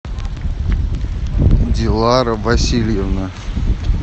дилара васильевна